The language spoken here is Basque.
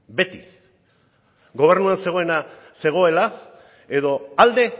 beti gobernuan zegoena zegoela edo alde